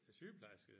Sygeplejerske?